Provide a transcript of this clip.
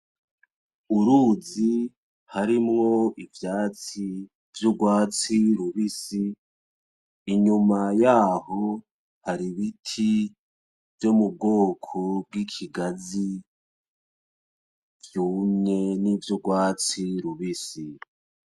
Uruzi harimwo ivyatsi vy'urwatsi rubisi, inyuma yaho hari ibiti vyo mu bwoko bw'ikigazi vyumye, nivy'urwatsi rubisi.